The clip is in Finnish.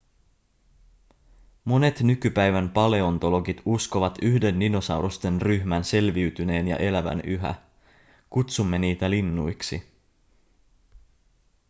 monet nykypäivän paleontologit uskovat yhden dinosaurusten ryhmän selviytyneen ja elävän yhä kutsumme niitä linnuiksi